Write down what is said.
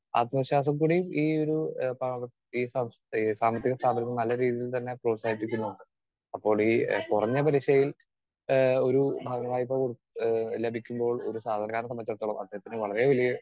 Speaker 2 ആത്മവിശ്വാസം കൂടി ഈയൊരുഏഹ് സാമ്പത്തിക സ്ഥാപനം നല്ല രീതിയിൽ തന്നെ പ്രോത്സാഹിപ്പിക്കുന്നുണ്ട്. അപ്പോളീ കുറഞ്ഞ പലിശയിൽ ആഹ് ഒരു ബാങ്ക് വായ്പ ഏഹ് ലഭിക്കുമ്പോൾ ഒരു സാധാരണക്കാരനെ സംബന്ധിച്ചിടത്തോളം അദ്ദേഹത്തിന് വളരെ വലിയ